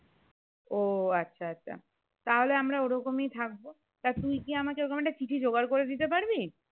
ওহ আচ্ছা আচ্ছা তা হলে আমরা ওইরকমই থাকবো তা তুই কি আমাকে ওরকম একটা চিঠি জোগাড় করে দিতে পারবি?